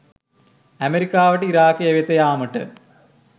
ඇමරිකාවට ඉරාකය වෙත යාමට